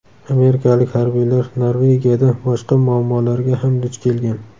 Amerikalik harbiylar Norvegiyada boshqa muammolarga ham duch kelgan.